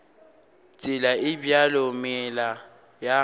tsela e bjalo meela ya